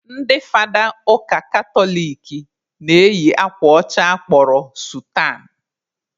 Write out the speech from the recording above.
Ndị fada ụka katoliki na-eyi akwa ọcha a kpọrọ sutan